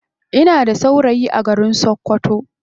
Ina da saurayi a garin sakkwato.